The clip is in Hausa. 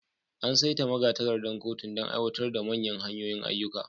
An saita magatakardar kotun don aiwatar da manyan hanyoyin ayyuka.